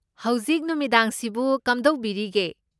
ꯍꯧꯖꯤꯛ ꯅꯨꯃꯤꯗꯥꯡꯁꯤꯕꯨ ꯀꯝꯗꯧꯕꯤꯔꯤꯒꯦ?